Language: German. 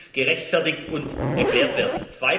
sie muss gerechtfertigt und erklärt werden.